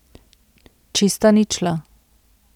Čista ničla.